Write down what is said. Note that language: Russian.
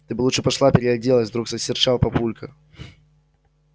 ты бы лучше пошла переоделась вдруг осерчал папулька